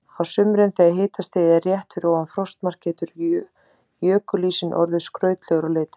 Á sumrin þegar hitastigið er rétt fyrir ofan frostmark, getur jökulísinn orðið skrautlegur á litinn.